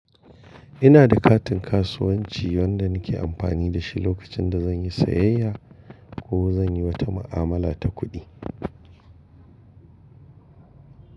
Ina da katin kasuwanci wanda nike amfani da shi lokacin da zan yi sayayya ko zan yi wata ma’amala ta kuɗi.